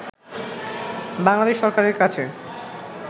বাংলাদেশ সরকারের কাছে